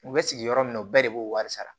U bɛ sigi yɔrɔ min na u bɛɛ de b'o wari sara